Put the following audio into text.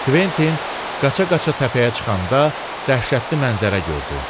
Kventin qaça-qaça təpəyə çıxanda dəhşətli mənzərə gördü.